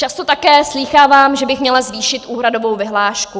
Často také slýchávám, že bych měla zvýšit úhradovou vyhlášku.